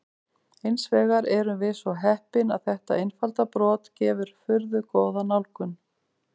Hins vegar erum við svo heppin að þetta einfalda brot gefur furðu góða nálgun.